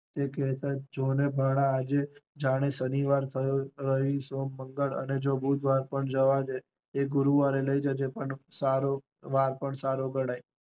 એટલે જોને ભાણા આજે થયો શનિવાર, રવિ, સોમ, મંગળ અને બુધવાર જવા દે, એ ગુરુવારે લઇ જજે, પણ સારો વાર પન્ન ગણાય